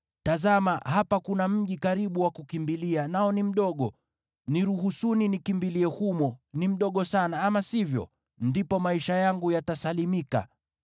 Tazama, hapa kuna mji karibu wa kukimbilia, nao ni mdogo. Niruhusuni nikimbilie humo, ni mdogo sana, ama sivyo? Ndipo maisha yangu yatasalimika.”